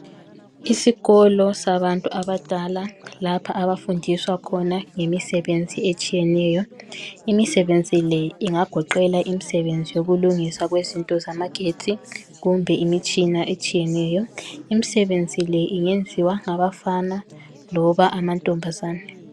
Isikolo sabantu abadala lapha abafundiswa khona imisebenzi etshiyeneyo. Imisebenzi le ingagoqela imisebenzi yokulungiswa kwezinto zamagetsi kumbe imitshina etshiyeneyo. Imisebenzi le ingenziwa ngabafana loba amantombazane.